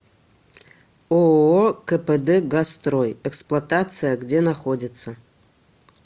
ооо кпд газстрой эксплуатация где находится